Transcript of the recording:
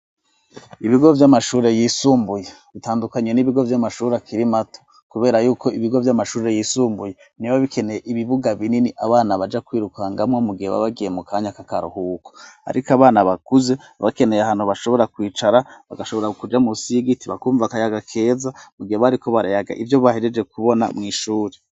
Ibigo by'amashuri yisumbuye bitandukanye n'ibigo vy'amashuri akiri mato kubera yuko ibigo vy'amashuri yisumbuye ntibiba bikeneye ibibuga binini abana baja kwirukangamwo mu gihe babagiye mu kanya k'akaruhuko ariko abana bakuze bakeneye ahantu bashobora kwicara bagashobora kuja munsi y'igiti bakumva kayaga keza mu gihe bariko barayaga ivyo bahejeje kubona mw'ishure.